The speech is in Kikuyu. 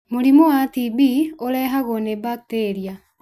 Mũrimũ wa TB ũrehagwo nĩ bakitĩria